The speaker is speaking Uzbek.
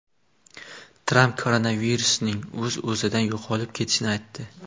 Tramp koronavirusning o‘z-o‘zidan yo‘qolib ketishini aytdi.